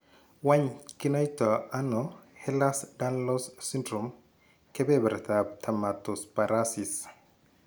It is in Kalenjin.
Wany kinaitano Ehlers danlos syndrome, kebebrtab dermatosparaxis?